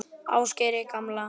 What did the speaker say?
Ásgeiri gamla.